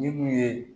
Minnu ye